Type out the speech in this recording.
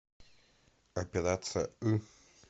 операция ы